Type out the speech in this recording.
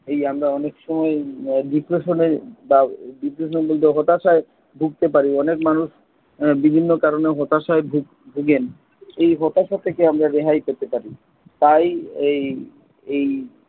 এই আমরা অনেক সময় আহ depression বা হতাশায় ভুগতে পারি অনেক মানুষ আহ বিভিন্ন কারণে হতাশায় ভোগেন। এই হতাশা থেকে আমরা রেহাই পেতে পারি। তাই এই এই